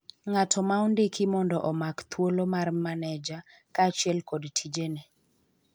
ng'ato ma ondiki mondo omak thuolo mar maneja ,kaachiel kod tijene